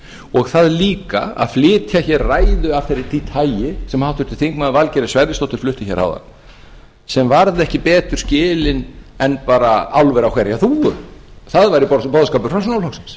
og það líka að flytja hér ræðu af því tagi sem háttvirtur þingmaður valgerður sverrisdóttir flutti hér áðan sem varð ekki betur skilin en bara álver á hverja þúfu það væri boðskapur